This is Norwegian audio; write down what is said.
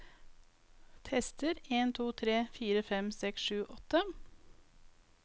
Tester en to tre fire fem seks sju åtte